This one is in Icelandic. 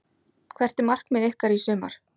Hvert er markmið ykkar í sumar?